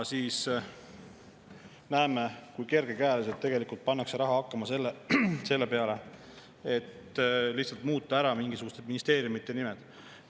Samas näeme, kui kergekäeliselt tegelikult pannakse raha hakkama selle peale, et lihtsalt muuta ära mingisuguste ministeeriumide nimed.